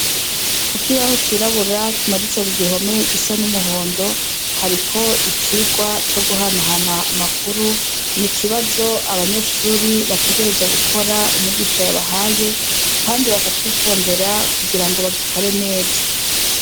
Kukibaho cirabura kimaditse kugihome gisa n’umuhondo, hariko icigwa co guhanahana amakuru, nikibazo abanyeshuri bategerezwa gukora umwigisha yabahaye , kandi bakacitondera kugirango bagikore neza.